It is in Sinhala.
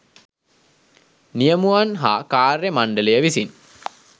නියමුවන් හා කාර්ය මණ්ඩලය විසින්